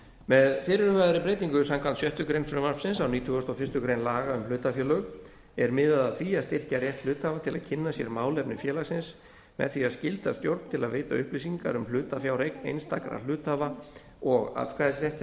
með fyrirhugaðri breytingu samkvæmt sjöttu greinar frumvarpsins á nítugasta og fyrstu grein laga um hlutafélög er miðað að því að styrkja rétt hluthafa til að kynna sér málefni félagsins með því að skylda stjórn til að veita upplýsingar um hlutafjáreign einstakra hluthafa og atkvæðisrétt